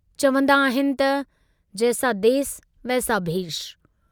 चवन्दा आहिनि त जैसा देस वैसा भेष"।